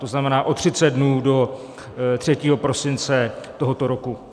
To znamená o 30 dnů, do 3. prosince tohoto roku.